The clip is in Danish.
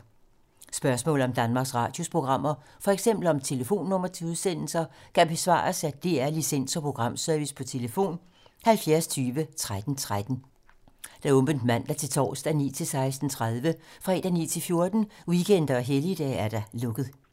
Spørgsmål om Danmarks Radios programmer, f.eks. om telefonnumre til udsendelser, kan besvares af DR Licens- og Programservice: tlf. 70 20 13 13, åbent mandag-torsdag 9.00-16.30, fredag 9.00-14.00, weekender og helligdage: lukket.